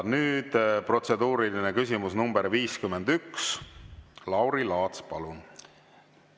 Nüüd protseduuriline küsimus nr 51, Lauri Laats, palun!